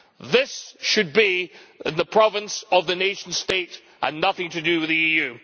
This should be the province of the nation state and nothing to do with the EU.